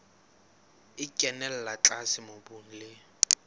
e kenella tlase mobung le